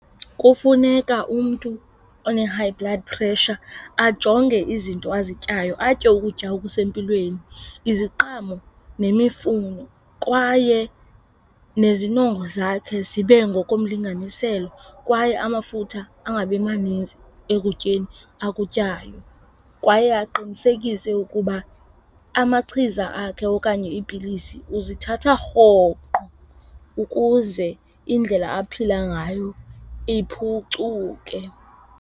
Kufuneka umntu one-high blood pressure ajonge izinto azityayo atye ukutya okusempilweni, iziqhamo nemifuno kwaye nezinongo zakhe zibe ngokomlinganiselo kwaye amafutha angabi manintsi ekutyeni akutyayo. Kwaye aqinisekise ukuba amachiza akhe okanye iipilisi uzithatha rhoqo ukuze indlela aphila ngayo iphucuke.